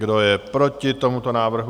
Kdo je proti tomuto návrhu?